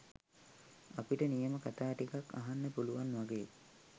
අපිට නියම කතා ටිකක් අහන්න පුලුවන් වගේ